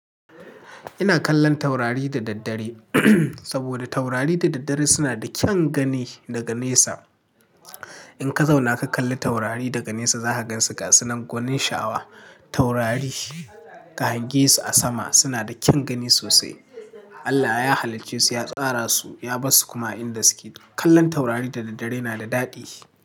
Ina kallon taurari da daddare saboda taurari da daddare suna da kyan gani daga nesa. In ka zauna ka kalli taurari daga nesa za ka gansu gasunan gonin shawa. Taurari ka hangesu a sama suna da kyan gani sosai. Allah ya haliccesu, ya tsara su, ya bar su kuma a inda suke. Kallon taurari da daddare yana da daɗi.